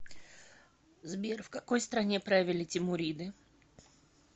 сбер в какой стране правили тимуриды